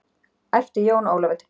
æpti Jón Ólafur til baka.